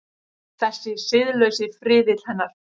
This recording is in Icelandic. Þessi siðlausi friðill hennar.